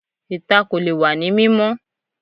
Ìta kò lè wá ní mímọ́